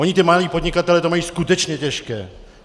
Oni ti malí podnikatelé to mají skutečně těžké.